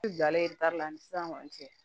I bilalen la ani sisan kɔni cɛ